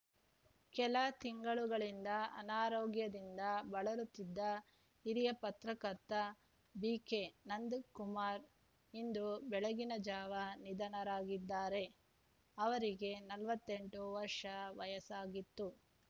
ಕೆಲ ತಿಂಗಳುಗಳಿಂದ ಅನಾರೋಗ್ಯದಿಂದ ಬಳಲುತ್ತಿದ್ದ ಹಿರಿಯ ಪತ್ರಕರ್ತ ಬಿಕೆನಂದ ಕುಮಾರ್ ಇಂದು ಬೆಳಗ್ಗಿನ ಜಾವ ನಿಧನರಾಗಿದ್ದಾರೆ ಅವರಿಗೆ ನಲವತ್ತೆಂಟು ವರ್ಷ ವಯಸ್ಸಾಗಿತ್ತು